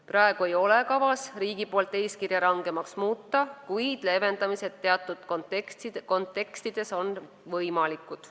Praegu ei ole riigil kavas eeskirja rangemaks muuta, kuid leevendamised on teatud kontekstis võimalikud.